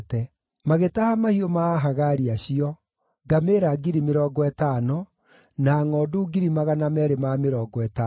Magĩtaha mahiũ ma Ahagari acio: ngamĩĩra 50,000, na ngʼondu 250,000, na ndigiri 2,000, ningĩ nĩmatahire andũ 100,000,